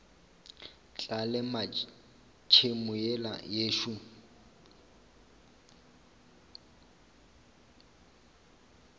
tla lema tšhemo yela yešo